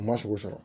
A ma sogo sɔrɔ